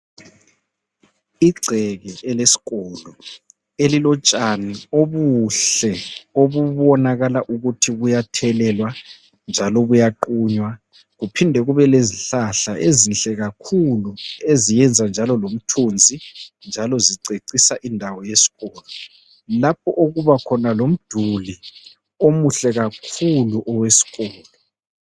Igceke elesikolo, elilotshani obuhle obubonakala ukuthi buyathelelwa njalo buyaqunywa, kuphinde kube lezihlahla ezinhle kakhulu eziyenza njalo lomthunzi njalo zicecisa indawo yesikolo, lapho okubakhona lomduli omuhle kakhulu owesikolo.